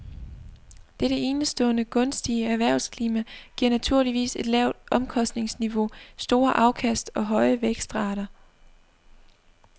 Dette enestående gunstige erhvervsklima giver naturligvis et lavt omkostningsniveau, store afkast og høje vækstrater.